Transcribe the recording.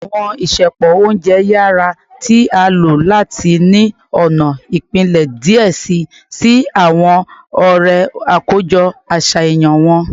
Awọn isẹpo ounjẹ yara ti a lo lati ni ọna ipilẹ diẹ sii si awọn ọrẹ akojọ aṣayan wọn